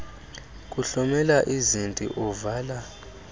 kuhlomela izinti uvala